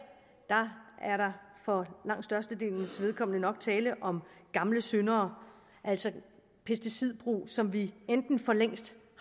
er der for langt størstedelens vedkommende nok tale om gamle syndere altså pesticidbrug som vi enten for længst